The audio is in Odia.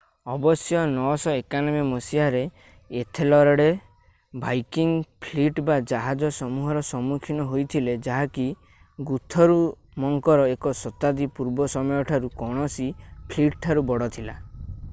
ଅବଶ୍ୟ 991 ମସିହାରେ ଏଥେଲରେଡ୍ ଭାଇକିଙ୍ଗ୍ ଫ୍ଲିଟ୍‌ ବା ଜାହାଜ ସମୂହର ସମ୍ମୁଖୀନ ହୋଇଥିଲେ ଯାହାକି ଗୁଥରୁମଙ୍କର ଏକ ଶତାବ୍ଦୀ ପୂର୍ବ ସମୟଠାରୁ କୌଣସି ଫ୍ଲିଟ୍‌ଠାରୁ ବଡ଼ ଥିଲା।